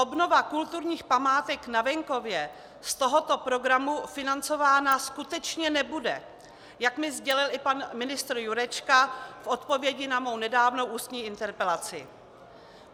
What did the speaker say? Obnova kulturních památek na venkově z tohoto programu financována skutečně nebude, jak mi sdělil i pan ministr Jurečka v odpovědi na moji nedávnou ústní interpelaci.